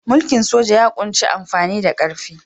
Mulkin soja ya ƙunshi amfani da ƙarfi.